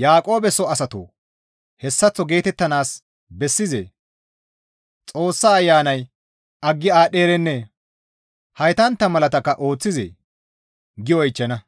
«Yaaqoobe soo asatoo hessaththo geetettanaas bessizee? Xoossa ayanay aggi aadhdherennee? Heytantta malakka ooththizee?» gi oychchana;